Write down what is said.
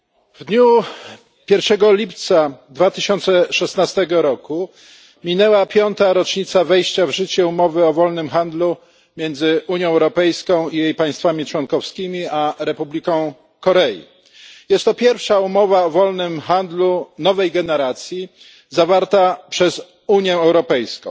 W dniu 1 lipca 2016 roku minęła piąta rocznica wejścia w życie umowy o wolnym handlu między Unią Europejską i jej państwami członkowskimi a Republiką Korei. Jest to pierwsza umowa o wolnym handlu nowej generacji zawarta przez Unię Europejską.